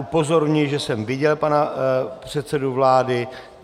Upozorňuji, že jsem viděl pana předsedu vlády.